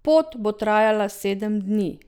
Pot bo trajala sedem dni.